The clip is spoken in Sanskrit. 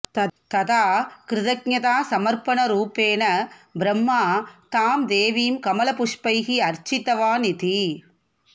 तदा कृतज्ञतासमर्पणरूपेण ब्रह्मा तां देवीं कमलपुष्पैः अर्चितवान् इति